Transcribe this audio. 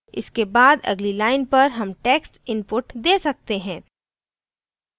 इसके बाद अगली line पर हम text inputs दे सकते हैं